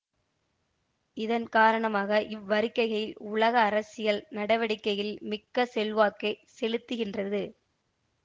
இதன் காரணமாக இவ்வறிக்ககை உலக அரசியல் நடவடிக்கையில் மிக்க செல்வாக்கை செலுத்துகின்றது